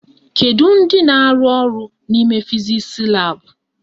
Kedu ndị na-arụ ọrụ n'ime fizisi laabụ?